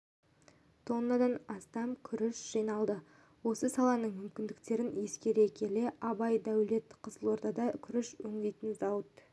тоннадан астам күріш жиналды осы саланың мүмкіндіктерін ескере келе абай даулет қызылордада күріш өңдейтін зауыт